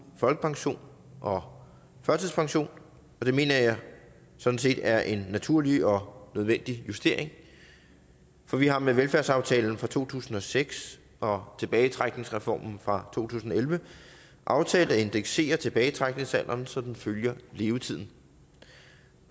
folkepension og førtidspension og det mener jeg sådan set er en naturlig og nødvendig justering for vi har med velfærdsaftalen fra to tusind og seks og tilbagetrækningsreformen fra to tusind og elleve aftalt at indeksere tilbagetrækningsalderen så den følger levetiden